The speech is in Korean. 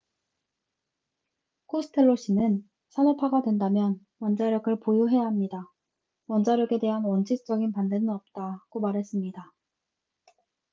"코스텔로 씨는 "산업화가 된다면 원자력을 보유해야 합니다. 원자력에 대한 원칙적인 반대는 없다""고 말했습니다.